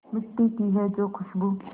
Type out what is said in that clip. मिट्टी की है जो खुशबू